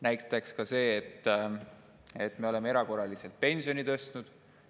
Näiteks selle, et me oleme erakorraliselt pensioni tõstnud.